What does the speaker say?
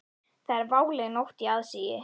Það er váleg nótt í aðsigi.